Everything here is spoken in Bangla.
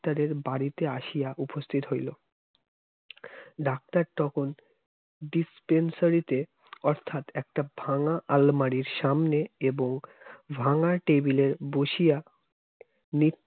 তাদের বাড়িতে আসিয়া উপস্থিত হইল doctor তখন dispensary অর্থাৎ একটা ভাঙ্গা আলমারির সামনে এবং ভাঙ্গা table এর বসিয়া